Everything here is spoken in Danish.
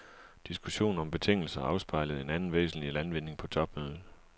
Diskussionen om betingelser afspejlede en anden væsentlig landvinding på topmødet.